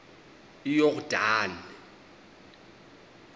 iyordane